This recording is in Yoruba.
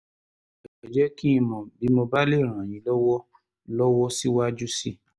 ẹ jẹ́ kí n mọ̀ bí mo bá lè ràn yín lọ́wọ́ lọ́wọ́ síwájú sí i